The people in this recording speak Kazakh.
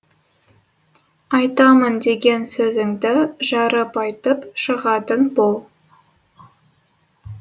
айтамын деген сөзіңді жарып айтып шығатын бол